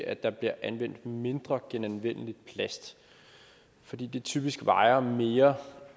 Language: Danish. at der bliver anvendt mindre genanvendelig plast fordi den typisk vejer mere